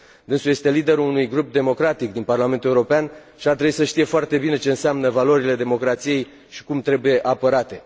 Dânsul este liderul unui grup democratic din Parlamentul European și ar trebui să știe foarte bine ce înseamnă valorile democrației și cum trebuie apărate.